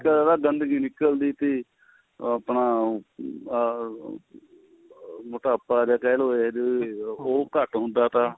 ਨਿਕਲਦਾ ਥਾ ਗੰਦਗੀ ਨਿਕਲਦੀ ਥੀ ਉਹ ਆਪਣਾ ਆ ਮੋਟਾਪਾ ਜੇ ਕਹਿ ਲੋ ਇਹਦੇ ਉਹ ਘੱਟ ਹੁੰਦਾ ਥਾ